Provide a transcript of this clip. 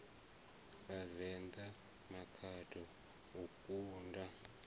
ya vhavenḓa makhado o kunda